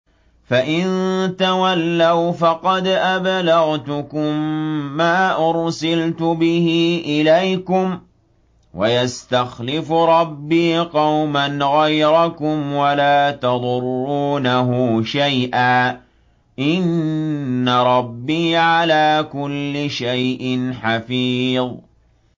فَإِن تَوَلَّوْا فَقَدْ أَبْلَغْتُكُم مَّا أُرْسِلْتُ بِهِ إِلَيْكُمْ ۚ وَيَسْتَخْلِفُ رَبِّي قَوْمًا غَيْرَكُمْ وَلَا تَضُرُّونَهُ شَيْئًا ۚ إِنَّ رَبِّي عَلَىٰ كُلِّ شَيْءٍ حَفِيظٌ